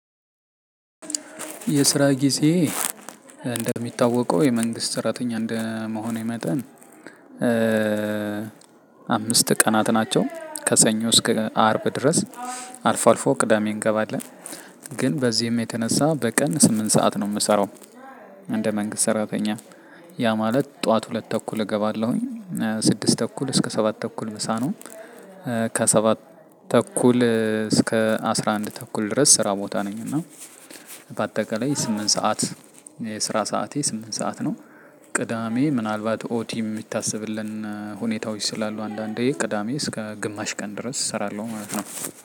የስራ ጊዜ እንደሚታወቀው የመንግስት ሰራተኛ እንደመሆኔ መጠን። አምስት ቀናት ናቸው ከሰኞ እስከ አርብ ድረስ። አልፎ አልፎ ቅዳሜ እንገባለን ግን በዚህም የተነሳ በቀን ስምንት ሰዓት ነው የምሰራው። እንደ መንግስት ሰራተኛ ያ ማለት ጠዋት ሁለት ተኩል እገባለሁኝ ስድስት ተኩል እስከ ሰባት ተኩል ምሳ ነው። ከሰባት ተኩል እስከ አስራ አንድ ተኩል ድረስ ስራ ቦታ ነኝ። እና በአጠቃላይ ስምንት ሰዓት የስራ ሰዓቴ ስምንት ሰዓት ነው። ቅዳሜ ምናልባት ኦቲ የሚታሰብልን ሁኔታዎች ስላሉ አንዳንዴ ቅዳሜ እስከ ግማሽ ቀን ድረስ እሰራለሁ ማለት ነው።